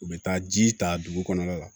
U bɛ taa ji ta dugu kɔnɔna na